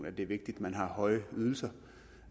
at det er vigtigt at man har høje ydelser